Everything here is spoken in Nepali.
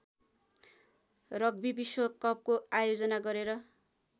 रग्बी विश्वकपको आयोजना गरेर